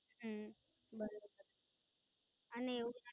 હમ બરોબર છે અને એવું જ